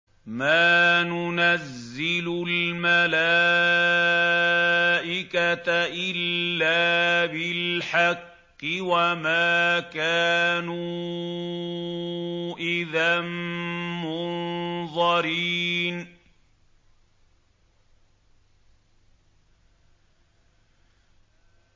مَا نُنَزِّلُ الْمَلَائِكَةَ إِلَّا بِالْحَقِّ وَمَا كَانُوا إِذًا مُّنظَرِينَ